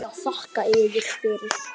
Já, þakka yður fyrir.